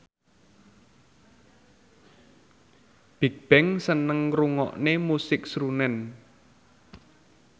Bigbang seneng ngrungokne musik srunen